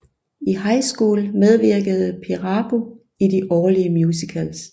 I high school medvirkede Perabo i de årlige musicals